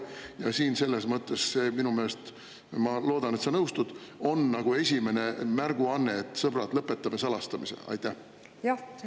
Ja siin on minu meelest – ma loodan, et sa nõustud – esimene märguanne: "Sõbrad, lõpetame salastamise!"